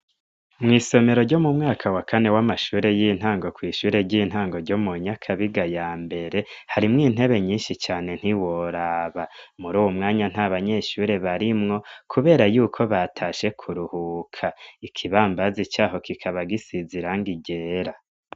Mw'isomero ryo mu mwaka wa kane w'amashuri y'intango kw'ishure ry'intango ryo mu Nyakabiga ya mbere, harimwo intebe nyinshi cane ntiworaba. Muri uwo mwanya ntabanyeshuri barimwo kubera yuko batashe kuruhuka. Ikibambazi caho kikaba gisize irangi ryera.